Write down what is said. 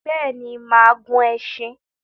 Béèni, máà gun esin